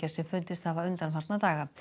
sem fundist hafa undanfarna daga